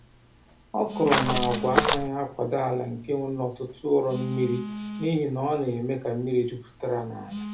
Okra na agwa anaghị akwado ala nke nwere ọtụtụ ụrọ mmiri, n’ihi na ọ na-eme ka mmiri jupụta n’ala.